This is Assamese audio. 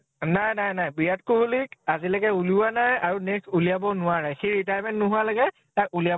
নাই নাই । বিৰাট কোহলি ক আজিলৈকে উলিওৱা নাই আৰু next উলিৱাবও নোৱাৰে । সি retirement নোহোৱা লৈকে তাক উলিৱাব